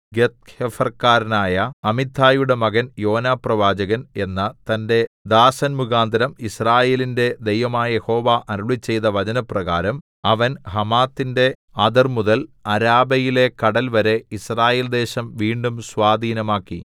ഗത്ത്ഹേഫർകാരനായ അമിത്ഥായിയുടെ മകൻ യോനാപ്രവാചകൻ എന്ന തന്റെ ദാസൻമുഖാന്തരം യിസ്രായേലിന്റെ ദൈവമായ യഹോവ അരുളിച്ചെയ്ത വചനപ്രകാരം അവൻ ഹമാത്തിന്റെ അതിർമുതൽ അരാബയിലെ കടൽവരെ യിസ്രായേൽദേശം വീണ്ടും സ്വാധീനമാക്കി